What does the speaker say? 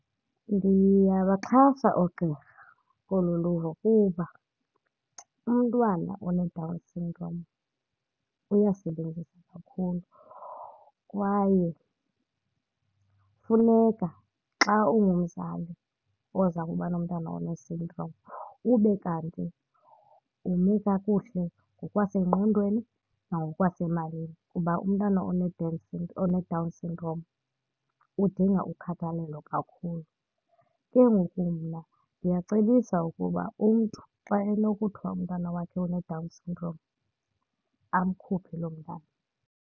Ndiyabaxhasa oogqirha kolu luvo kuba umntwana oneDown syndrome uyasebenzisa kakhulu kwaye kufuneka xa ungumzali oza kuba nomntana one-syndrome ube kanti ume kakuhle ngokwasengqondweni nangokwasemalini kuba umntana oneDown syndrome udinga ukhathalelo kakhulu. Ke ngoku mna ndiyacebisa ukuba umntu xa enokuthwa umntana wakhe uneDown syndrome amkhuphe loo mntana.